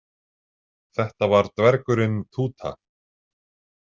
Þetta var dvergurinn Túta.